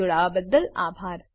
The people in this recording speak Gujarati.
અમને જોડાવાબદ્દલ આભાર